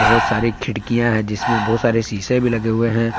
बहुत सारी खिड़कियां हैं जिसमें बहुत सारे शीशे भी लगे हुए हैं।